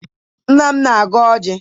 Nna m na-agọ ọjị.